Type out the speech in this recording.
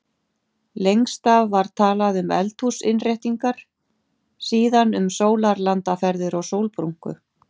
Lengst af var talað um eldhúsinnréttingar, síðan um sólarlandaferðir og sólbrúnku.